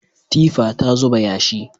Tifa ta zuba yashi.